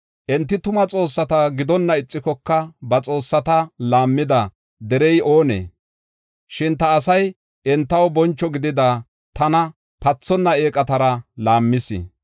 Enti tuma xoossata gidonna ixikoka ba xoossata laammida derey oonee? Shin ta asay entaw boncho gidida tana pathonna eeqatara laammis.”